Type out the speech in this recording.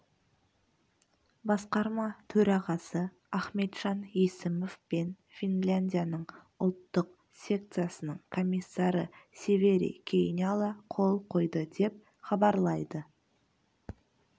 басқарма төрағасы ахметжан есімов пен финляндияның ұлттық секциясының комиссары севери кейняла қол қойды деп хабарлайды